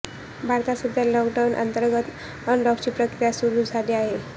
भारतात सध्या लॉकडाऊन अंतर्गत अनलॉकची प्रक्रिया सुरु झाली आहे